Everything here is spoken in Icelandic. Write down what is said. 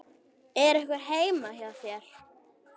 Er einhver heima hér?